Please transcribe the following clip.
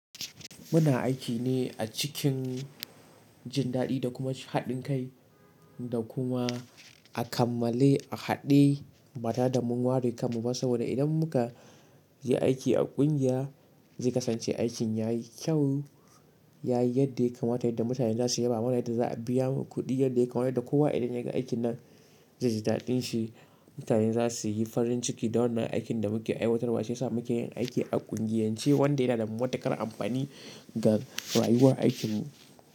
Muna aiki ne a cikin jin daɗi da kuma haɗin kai da kuma a kammale a haɗe mata da mun ware kanmu ba. Saboda idan muka je aiki a ƙungiya zai kasance aikin ya yi kyau, ya yi yadda ya kamata yadda mutane za su yaba mana yadda za a biya mu kuɗi yadda ya kamata. Da kowa idan ya ga aikin nan zai ji daɗin shi. Mutane za su yi farin ciki da wannan aikin da muke aiwatarwa, shi ya sa muke yin aiki a ƙungiyance wanda yana da matuƙar amfani ga rayuwar aikinmu.